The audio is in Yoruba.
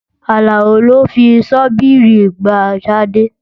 Àlàó lò fi ṣọ́bìrì gbá Tádé.